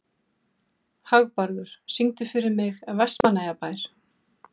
Hagbarður, syngdu fyrir mig „Vestmannaeyjabær“.